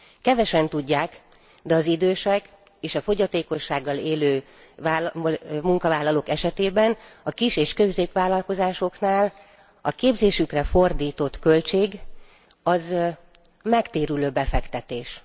Kevesen tudják, de az idősek és a fogyatékossággal élő munkavállalók esetében a kis és középvállalkozásoknál a képzésükre fordított költség megtérülő befektetés.